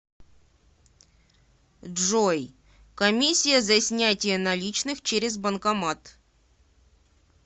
джой комиссия за снятие наличных через банкомат